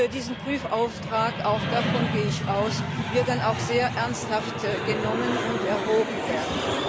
Dieser Prüfauftrag auch davon gehe ich aus wird dann auch sehr ernst genommen und ernsthaft erwogen werden.